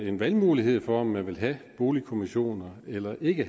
en valgmulighed for om man vil have boligkommissioner eller ikke